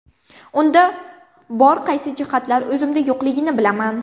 Unda bor qaysi jihatlar o‘zimda yo‘qligini bilaman.